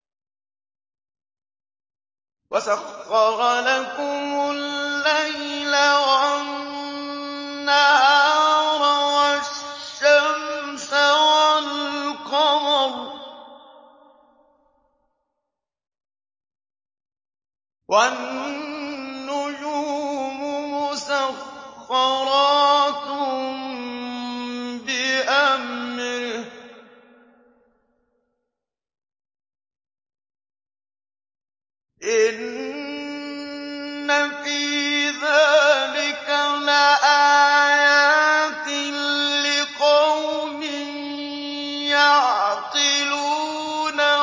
وَسَخَّرَ لَكُمُ اللَّيْلَ وَالنَّهَارَ وَالشَّمْسَ وَالْقَمَرَ ۖ وَالنُّجُومُ مُسَخَّرَاتٌ بِأَمْرِهِ ۗ إِنَّ فِي ذَٰلِكَ لَآيَاتٍ لِّقَوْمٍ يَعْقِلُونَ